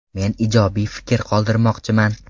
Men ijobiy fikr qoldirmoqchiman.